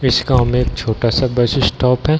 जिस गांव में एक छोटा-सा बस स्टॉप है।